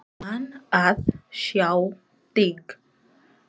Gaman að sjá þig.